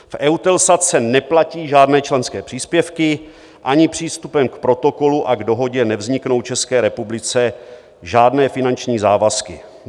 V EUTELSAT se neplatí žádné členské příspěvky, ani přístupem k Protokolu a k Dohodě nevzniknou České republice žádné finanční závazky.